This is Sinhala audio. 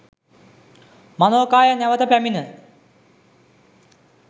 මනෝකාය නැවත පැමිණ